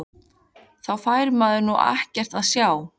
Þá fær maður nú ekkert að sjá!!